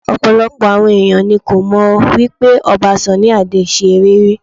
Ọ̀pọ̀lọpọ̀ àwọn ẹ̀yàn ni kò mọ̀ wípé Ọba Sunny Adé ṣe eré rí.